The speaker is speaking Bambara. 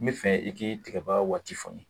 N bɛ fɛ i k'i tigaba waati fɔ n ye